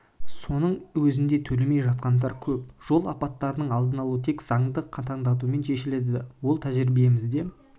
соның өзінде төлемей жатқандар көп жол апаттарының алдын алу тек заңды қатаңдатумен шешіледі ол тәжірибемізде